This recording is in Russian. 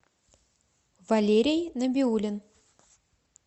валерий набиулин